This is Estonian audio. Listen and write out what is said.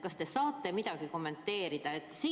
Kas te saate seda kommenteerida?